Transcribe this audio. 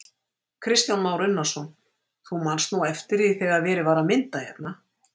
Kristján Már Unnarsson: Þú manst nú eftir því þegar að var verið að mynda hérna?